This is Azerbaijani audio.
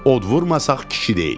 Od vurmasaq kişi deyilik.